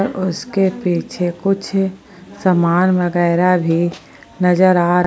और उसके पीछे कुछ समान वगैरह भी नजर आ रहा--